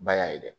Ba y'a ye dɛ